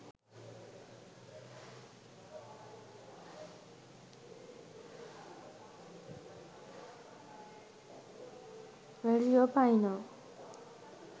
valerio pino